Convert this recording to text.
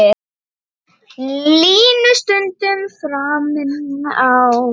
Línu stundum framinn á.